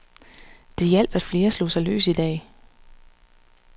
Det hjalp, at flere slog sig løs i dag.